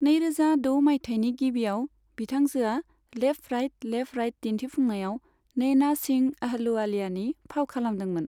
नैरोजा द' मायथायनि गिबियाव, बिथांजोआ लेफ्ट राइट लेफ्ट दिन्थिफुंनायाव नैना सिंह अहलुवालियानि फाव खालामदोंमोन।